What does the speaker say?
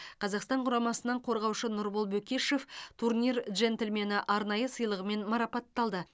қазақстан құрамасынан қорғаушы нұрбол бөкешов турнир джентльмені арнайы сыйлығымен марапатталды